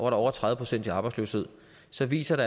har over tredive procent arbejdsløshed så viser det